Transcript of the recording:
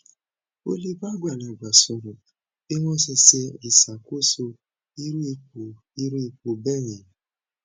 o le ba agbalagba soro bi won se se isakoso iru ipo iru ipo beyen